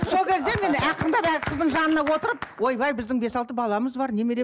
сол кезде мен ақырындап қыздың жанына отырып ойбай біздің бес алты баламыз бар немере